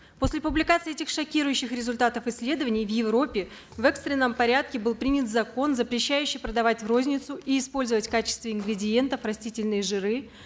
после публикации этих шокирующих результатов исследований в европев экстренном порядке был принят закон запрещающий продавать в розницу и использовать в качестве ингредиентов растительные жиры